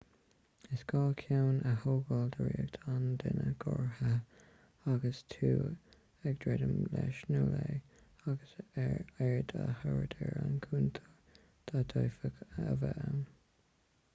is gá ceann a thógáil de riocht an duine ghortaithe agus tú ag druidim leis nó léi agus aird a thabhairt ar aon chontúirtí a d'fhéadfadh a bheith ann